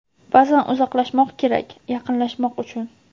Ba’zan uzoqlashmoq kerak, yaqinlashmoq uchun.